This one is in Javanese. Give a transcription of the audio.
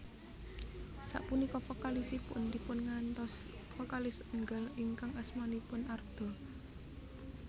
Sapunika vokalisipun dipungantos vokalis enggal ingkang asmanipun Arda